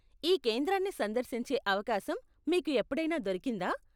ఈ కేంద్రాన్ని సందర్శించే అవకాశం మీకు ఎప్పుడైనా దొరికిందా?